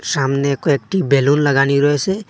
সামনে কয়েকটি বেলুন লাগানি রয়েসে।